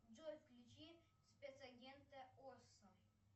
джой включи спецагента осо